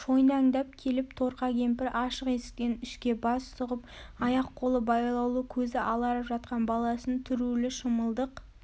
шойнаңдап келіп торқа кемпір ашық есіктен ішке бас сүғып аяқ-қолы байлаулы көзі аларып жатқан баласын түрулі шымылдық